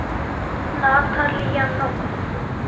Þín Arna Vigdís.